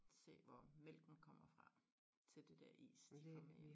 Se hvor mælken kommer fra til det dér is de får med hjem